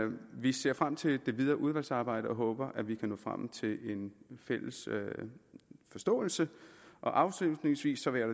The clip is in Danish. vi ser frem til det videre udvalgsarbejde og håber at vi kan nå frem til en fælles forståelse afslutningsvis vil jeg